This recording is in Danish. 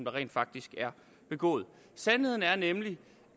rent faktisk er begået sandheden er nemlig